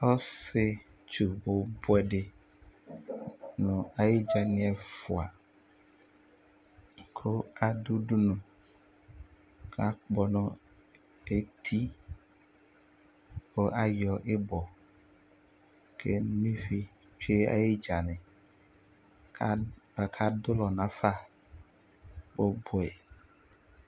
Ɔsιetsu bʋbʋɛ dι nʋ ayι dza nι ɛfʋa, kʋ adʋ udunu kʋ akpɔ nʋ eti, kʋ ayɔ ιbɔ kʋ eno ivi tsyʋe ayι dza nι, kʋ aka dʋ ʋlɔ nafa bʋbʋɛ